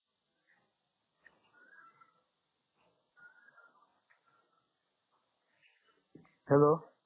hello